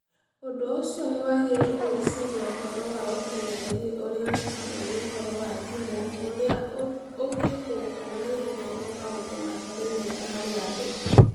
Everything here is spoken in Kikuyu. Ũndũ ũcio nĩ wagĩrĩirũo gwĩciria ũhoro wa ũkenereri ũrĩa ũrehagwo nĩ ũhoro wa thimũ, ũrĩa ũngĩthũkio na ihenya nĩ maũndũ matarĩ mega harĩ andũ.